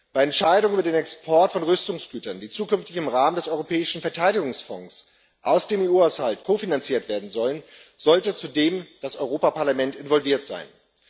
Bei Entscheidungen über den Export von Rüstungsgütern, die zukünftig im Rahmen des Europäischen Verteidigungsfonds aus dem EU Haushalt kofinanziert werden sollen, sollte zudem das Europäische Parlament involviert sein.